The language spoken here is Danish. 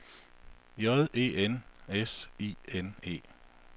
J E N S I N E